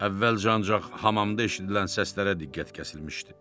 Əvvəlcə ancaq hamamda eşidilən səslərə diqqət kəsilmişdi.